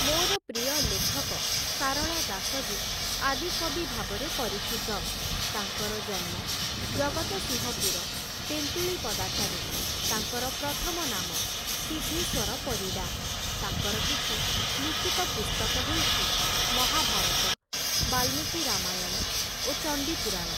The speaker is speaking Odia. ମୋର ପ୍ରିୟ ଲେଖକ ସାରଳା ଦାସ ଯେ ଆଦିକବି ଭାବରେ ପରିଚିତ । ତାଙ୍କର ଜନ୍ମ ଜଗତସିଂହପୁର ତେନ୍ତୁଳିପଦାଠାରେ । ତାଙ୍କର ପ୍ରଥମ ନାମ ସିଦ୍ଧେଶ୍ୱର ପରିଡ଼ା । ତାଙ୍କର କିଛି ଲିଖିତ ପୁସ୍ତକ ହେଉଛି ମହାଭାରତ, ବାଲ୍ମୀକି ରାମାୟଣ ଓ ଚଣ୍ଡୀପୁରାଣ ।